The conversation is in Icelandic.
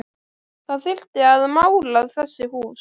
Það þyrfti að mála þessi hús